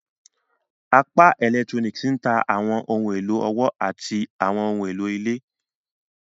Apá Electronics n ta awọn ohun elo ọwọ ati àwọn ohùn èló ilé.